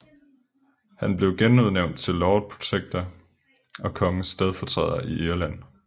Han blev genudnævnt til Lord Protector og kongens stedfortræder i Irland